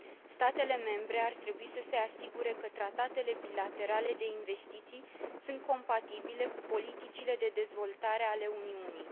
Statele membre ar trebui să se asigure că tratatele bilaterale de investiții sunt compatibile cu politicile de dezvoltare ale Uniunii.